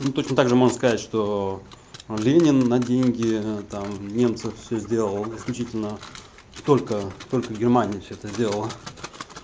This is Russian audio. ну точно также можно сказать что ленин на деньги там немцов всё сделал исключительно только только германия всё это сделала